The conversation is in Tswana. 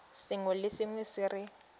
sengwe le sengwe se re